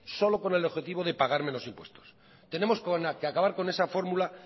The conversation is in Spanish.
solo con el objetivo de pagar menos impuestos tenemos que acabar con esa fórmula